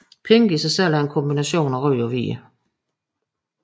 Pink i sig selv er en kombination af rød og hvid